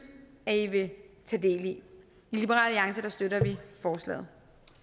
at i vil tage del i i liberal alliance støtter vi forslaget